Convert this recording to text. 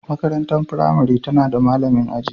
Makarantar firamare tana da malamin aji